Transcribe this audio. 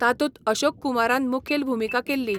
तातूंत अशोक कुमारान मुखेल भुमिका केल्ली.